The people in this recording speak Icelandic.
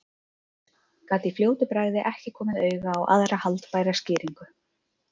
Gat í fljótu bragði ekki komið auga á aðra haldbæra skýringu.